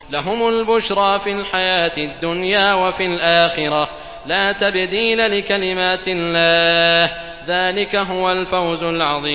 لَهُمُ الْبُشْرَىٰ فِي الْحَيَاةِ الدُّنْيَا وَفِي الْآخِرَةِ ۚ لَا تَبْدِيلَ لِكَلِمَاتِ اللَّهِ ۚ ذَٰلِكَ هُوَ الْفَوْزُ الْعَظِيمُ